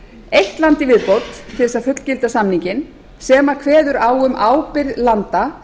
eitt land í viðbót til að fullgilda samninginn sem kveður á um ábyrgð landa